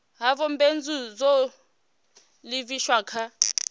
ha vhubindudzi zwo livhiswa kha